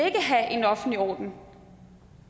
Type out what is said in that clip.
have en offentlig orden